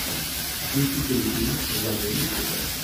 включи телефильм в жанре мистика